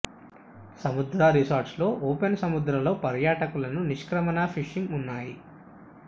సముద్ర రిసార్ట్స్ లో ఓపెన్ సముద్ర లో పర్యాటకులను నిష్క్రమణ ఫిషింగ్ ఉన్నాయి